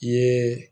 I ye